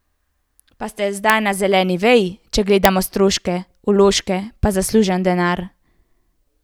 Pa ste zdaj na zeleni veji, če gledamo stroške, vložke pa zaslužen denar?